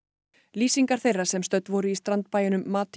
lýsingar þeirra sem stödd voru í strandbæjunum mati